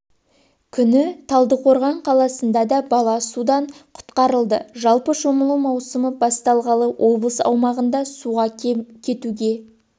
күні талдықорған қаласында да бала судан құтқарылды жалпы шомылу маусымы басталғалы облыс аумағында суға кетуге